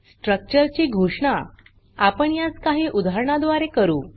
structure ची घोषणा आपण यास काही उदाहरणा द्वारे करू